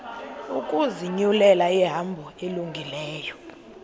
ukuzinyulela ihambo elungileyo